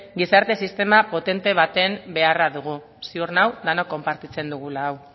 gizarte sistema potente baten beharra dugu ziur nago denak konpartitzen dugula hau